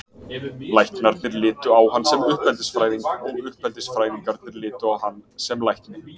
Læknarnir litu á hann sem uppeldisfræðing og uppeldisfræðingarnir litu á hann sem lækni.